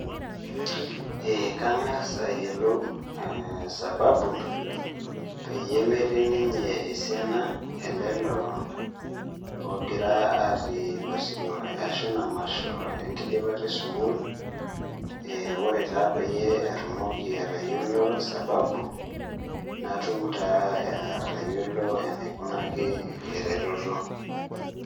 Ee kangas ayiolou sababu peyie metii ninye esiana ololo lemegira atii osirkwa ashu emasho enkidipata esukul, eeh ore taa peyie atumoki atayiolo sababu natum taa atayiolo anaikunaki eretoto